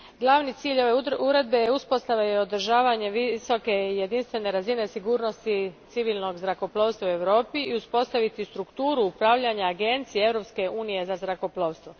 Glavni cilj ove uredbe je uspostava i održavanje visoke jedinstvene razine sigurnosti civilnog zrakoplovstva u Europi i uspostaviti strukturu upravljanja agencije Europske unije za zrakoplovstvo.